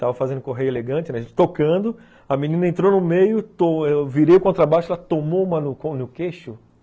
Tava fazendo correio elegante, a gente tocando, a menina entrou no meio, virei o contrabaixo, ela tomou uma no queixo.